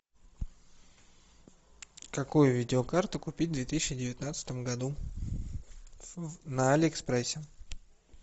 какую видеокарту купить в две тысячи девятнадцатом году на алиэкспрессе